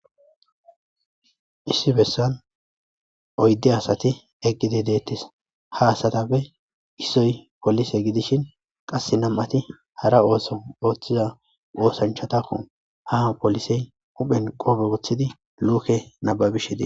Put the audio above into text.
Issi bessan oyydu assathi eqidi detes ha asathappe issoyi polisse gidishin qassi namaathi hara osso othiya ossanchathako ha polisse huphen qophe wothidi lukke nababishe dees.